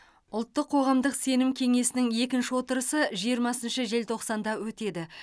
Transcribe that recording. ұлттық қоғамдық сенім кеңесінің екінші отырысы жиырмасыншы желтоқсанда өтеді